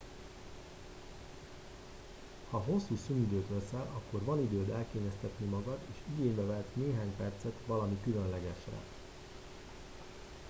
ha hosszú szünidőt veszel akkor van időd elkényeztetni magad és igénybe vehetsz néhány percet valami különlegesre